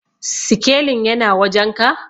sikelin yana wajenka?